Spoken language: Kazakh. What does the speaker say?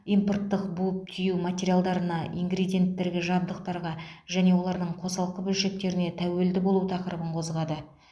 импорттық буып түю материалдарына ингредиенттерге жабдықтарға және олардың қосалқы бөлшектеріне тәуелді болу тақырыбын қозғады